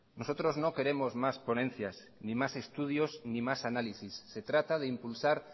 nosotros no queremos más ponencias ni más estudios ni más análisis se trata de impulsar